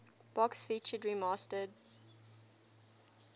box featured remastered